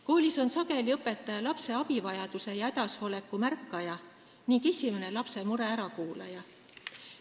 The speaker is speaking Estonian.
Koolis on sageli õpetaja lapse abivajaduse ja hädasoleku märkaja ning lapse mure esimene ärakuulaja.